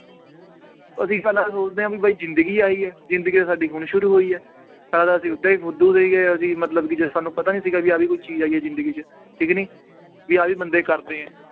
ਅਸੀਂ ਪਹਿਲਾਂ ਸੋਚਦੇ ਹਾਂ ਵੀ ਬਾਈ ਜ਼ਿੰਦਗੀ ਆਹੀ ਹੈ ਜ਼ਿੰਦਗੀ ਤਾਂ ਸਾਡੀ ਹੁਣ ਸ਼ੂਰੂ ਹੋਈ ਹੈ ਓਦਾਂ ਹੀ ਫ਼ੁਦੂ ਸੀਗੇ ਅਸੀਂ ਮਤਲਬ ਕਿ ਜੇ ਸਾਨੂੰ ਪਤਾ ਨੀ ਸੀਗਾ ਕਿ ਆਹ ਵੀ ਕੋਈ ਚੀਜ਼ ਹੈਗੀ ਜ਼ਿੰਦਗੀ 'ਚ ਠੀਕ ਨੀ ਵੀ ਆਹ ਵੀ ਬੰਦੇ ਕਰਦੇ ਹੈ।